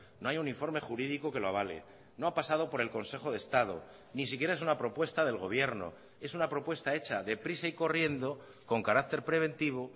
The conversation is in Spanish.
no hay un informe jurídico que lo avale no ha pasado por el consejo de estado ni siquiera es una propuesta del gobierno es una propuesta hecha de prisa y corriendo con carácter preventivo